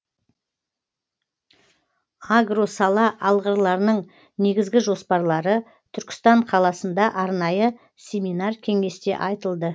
агросала алғырларының негізгі жоспарлары түркістан қаласында арнайы семинар кеңесте айтылды